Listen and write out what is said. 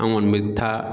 An kɔni bɛ taa